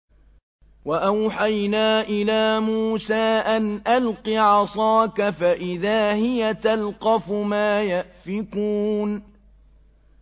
۞ وَأَوْحَيْنَا إِلَىٰ مُوسَىٰ أَنْ أَلْقِ عَصَاكَ ۖ فَإِذَا هِيَ تَلْقَفُ مَا يَأْفِكُونَ